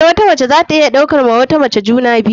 Eh, wata mace zata iya ɗauka wa wata mace juna biyu.